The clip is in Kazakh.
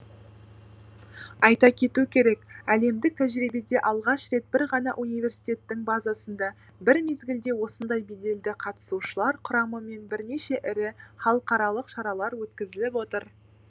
айта кету керек әлемдік тәжірибеде алғаш рет бір ғана университеттің базасында бір мезгілде осындай беделді қатысушылар құрамымен бірнеше ірі халықаралық шаралар өткізіліп отыр